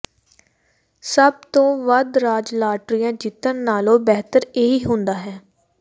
ਸਭ ਤੋਂ ਵੱਧ ਰਾਜ ਲਾਟਰੀਆਂ ਜਿੱਤਣ ਨਾਲੋਂ ਬਿਹਤਰ ਇਹੀ ਹੁੰਦਾ ਹੈ